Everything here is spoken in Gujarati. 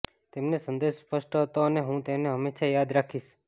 તેમને સંદેશ સ્પષ્ટ હતો અને હું તેને હંમેશા યાદ રાખીશ